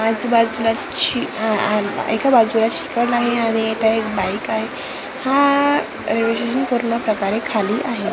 आणि आजूबाजूला आहे आणि रह एक बाईक आहे हा रेल्वे स्टेशन पूर्ण प्रकारे खाली आहे .